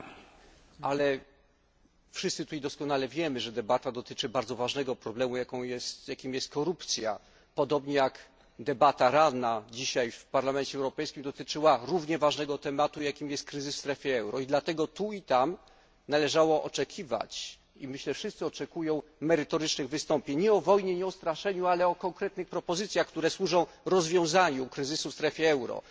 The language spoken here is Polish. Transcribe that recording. Bardzo dziękuję Pani Poseł za to pytanie, ale wszyscy tutaj doskonale wiemy, że debata dotyczy bardzo ważnego problemu, jakim jest korupcja, podobnie jak debata ranna dzisiaj w Parlamencie Europejskim dotyczyła równie ważnego tematu, jakim jest kryzys w strefie euro, i dlatego tu i tam należało oczekiwać i myślę, wszyscy oczekują merytorycznych wystąpień nie o wojnie, nie o straszeniu, ale o konkretnych propozycjach, które służą rozwiązaniu kryzysu w strefie euro.